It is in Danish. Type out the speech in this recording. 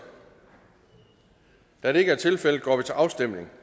da det ikke er tilfældet går vi til afstemning